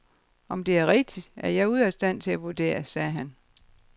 Om det er rigtigt, er jeg ude af stand til at vurdere, sagde han.